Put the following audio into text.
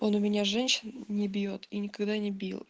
он у меня женщин не бьёт и никогда не бил